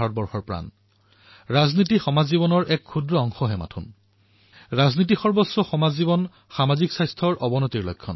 ভাৰতৰ দৰে দেশৰ উজ্বল ভৱিষ্যতৰ বাবে জনসাধাৰণৰ প্ৰতিভাৰ পুৰুষাৰ্থই যাতে উচিত স্থান পায় এয়া আমাৰ সকলোৰে এক সামূহিক দায়িত্ব আৰু মন কী বাতত এই দিশত এক নম্ৰ আৰু সাধাৰণভাৱে প্ৰয়াস কৰা হয়